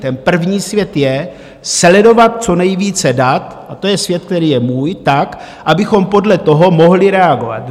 Ten první svět je sledovat co nejvíce dat, a to je svět, který je můj, tak, abychom podle toho mohli reagovat.